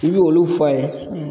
I be olu f'a ye